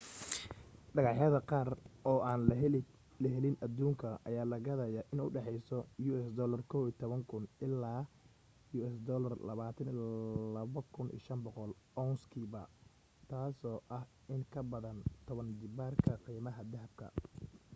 dhagax yada qaar oo aan laga helin aduunkan ayaa la gadaya in udhaxeyso us$11,000 ilaa $22,500 ounce-kiiba taaso ah in kabadan toban jibaar qiimaha dahabka